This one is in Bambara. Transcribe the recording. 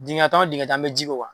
Dingɛ tan o tan an bɛ ji k'o kan